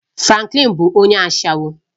Franklin bụ onye ashawo